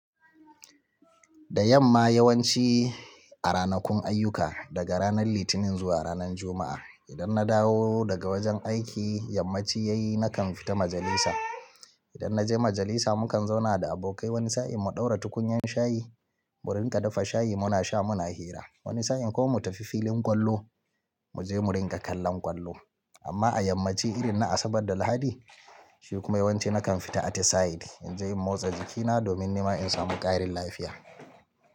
Da yamma yawanci a ranakun ayyuka, daga ranar Litinin zuwa ranar Juma'a, idan na dawo daga wajen aiki, yammaci yayi nakan fita majalisa. Idan na je majalisa, mukan zauna da abokai wani sa'in mu ɗaura tukunyan shayi, mu rinƙa dafa shayi muna sha, muna hira. Wani sa'in kuma mu tafi filin ƙwallo, mu je mu rinƙa kallon ƙwallo. Amma a yammaci irin na Asabar da Lahadi shi kuma yawanci nakan fita atisayi, in je in motsa jikina domin nima in samu ƙarin lafiya.